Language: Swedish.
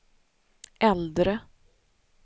äldre